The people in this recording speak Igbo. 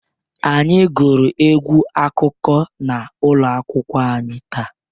Anyị gụrụ egwu akụkọ n'ụlọ akwụkwọ taa.